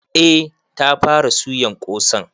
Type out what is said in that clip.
Eh ta fara suyan ƙosan.